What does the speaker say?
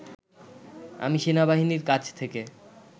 আমি সেনাবাহিনীর কাছ থেকে